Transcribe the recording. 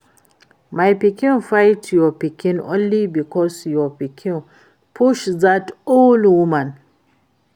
My pikin fight your pikin only because your pikin push dat old woman